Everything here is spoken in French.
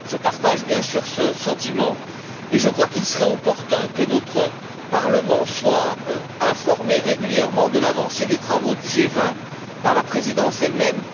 Je partage bien sûr ce sentiment et je crois qu'il serait opportun que notre Parlement soit informé régulièrement de l'avancée des travaux du G20 par la présidence elle même.